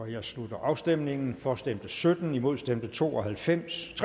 jeg slutter afstemningen for stemte sytten imod stemte tre og halvfems